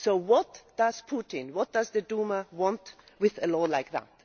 So what does Putin, what does the Duma want with a law like that?